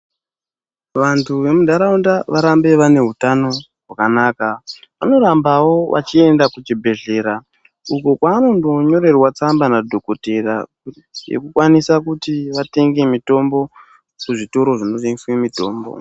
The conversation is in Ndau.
Vantu vemundaraunda vorambe vane utano hwakanaka vanorambawo vechienda kuchibhedhlera uko kwavanondonyorerwa tsamba nadhokotera yekukwanisa kuti vatenge mitombo kuzvitoro zvinotengesa mitombo.